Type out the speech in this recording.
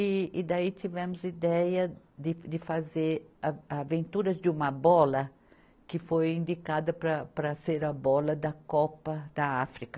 E, e daí tivemos ideia de, de fazer a, aventuras de uma bola que foi indicada para, para ser a bola da Copa da África.